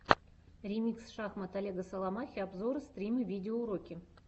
ремикс шахмат олега соломахи обзоры стримы видеоуроки